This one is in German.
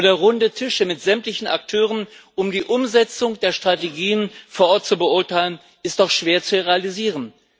Oder runde Tische mit sämtlichen Akteuren, um die Umsetzung der Strategien vor Ort zu beurteilen das ist doch schwer zu realisieren.